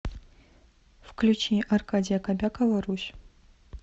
включи аркадия кобякова русь